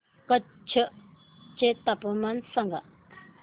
कच्छ चे तापमान सांगा